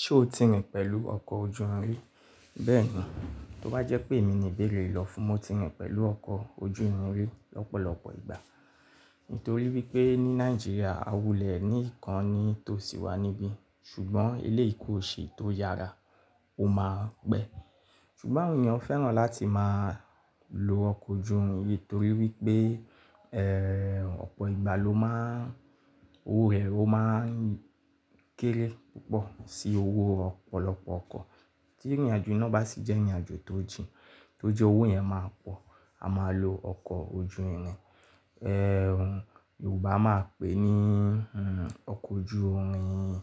Ṣé o ti rìn pẹ̀lú ọkọ̀ ojú irin rí? Bẹ́ẹ̀ni, tó bá jẹ́ pé èmi ni béèrè lọ fún, mo ti rìn pẹ̀lú ọkọ̀ ojú irin rí lọ́pọ̀lọpọ̀ ìgbà. Nítorí wípé ní Nàìjíríà a wulẹ̀ ní ìkan ní tó sì wà níbí ṣùgbọ́n ilé ìkó ṣe tó yára ó má ń pẹ́. Ṣùgbọ́n àwọn ènìyàn fẹ́ràn láti máa lo ọkọ̀ ojú irin yii torí wípé, ẹ́, ọ̀pọ̀ ìgbà ló má ń, owó rẹ̀ ó má ń kéré púpọ̀ sí owó ọ̀pọ̀lọpọ̀ ọkọ̀. Tí ìrìnàjò iná bá sì jẹ́ ìrìnàjò tó jìn, tó jẹ́ owó yẹn máa pọ̀, a máa lo ọkọ̀ ojú irin. Ẹ̀h, Yorùbá a máa pè é ní, ẹ́, ọkọ̀ ojú irin.